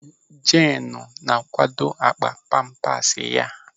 Jeenu na-akwakọ akpa pampas ya.